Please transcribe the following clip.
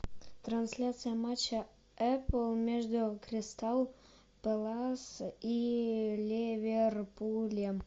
трансляция матча апл между кристал пэлас и ливерпулем